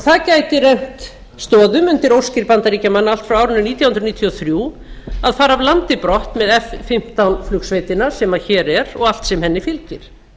það gæti rennt stoðum undir óskir bandaríkjamanna allt frá árinu nítján hundruð níutíu og þrjú að fara af landi brott með f fimmtán flugsveitina sem hér er og allt sem henni fylgir